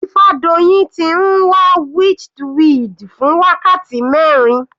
Ifadoyin ti ń wá witchweed fún wákàtí mẹrin.